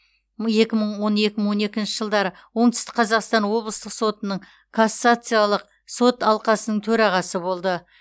екі мың он екі мың он екінші жылдары оңтүстік қазақстан облыстық сотының кассациялық сот алқасының төрағасы болды